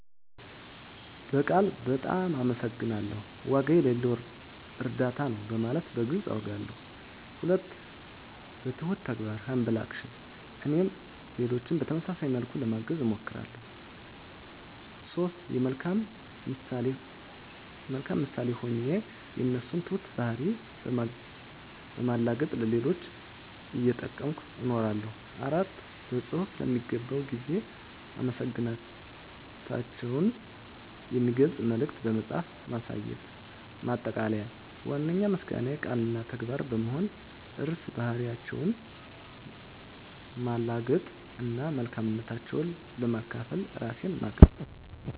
በቃል "በጣም አመሰግናለሁ"፣ "ዋጋ የሌለው እርዳታ ነው" በማለት በግልፅ አውጋለሁ። 2. በትሁት ተግባር (Humble Action) - እኔም ሌሎችን በተመሳሳይ መልኩ ለማገዝ እሞክራለሁ። 3. የመልካም ምሳሌ ሆኜ የእነሱን ትሁት ባህሪ በማላገጥ ለሌሎች እየጠቀምኩ እነግራለሁ። 4. በፅሁፍ ለሚገባው ጊዜ አመሰግናታቸውን የሚገልጽ መልዕክት በመጻፍ ማሳየት። ማጠቃለያ ዋነኛው ምስጋናዬ ቃል እና ተግባር በመሆን ርዕሰ ባህሪያቸውን ማላገጥ እና መልካምነታቸውን ለማካፈል ራሴን ማቅረብ ነው።